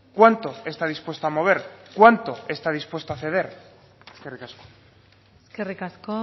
cuánto está dispuesto a mover cuánto está dispuesto a ceder eskerrik asko eskerrik asko